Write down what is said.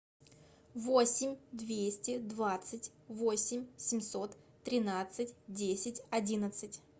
восемь двести двадцать восемь семьсот тринадцать десять одиннадцать